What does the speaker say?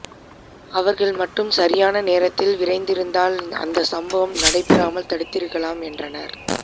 அவர்கள் மட்டும் சரியான நேரத்திற்கு விரைந்திருந்தால் அந்த சம்பவம் நடைபெறாமல் தடுத்திருக்கலாம் என்றனர்